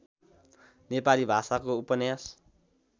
नेपाली भाषाको उपन्यास